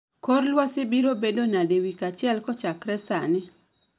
Kor lwasi biro bedo nade wik achiel kochakre sani